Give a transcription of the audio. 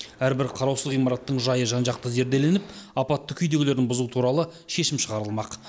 әрбір қараусыз ғимараттың жайы жан жақты зерделеніп апатты күйдегілерін бұзу туралы шешім шығарылмақ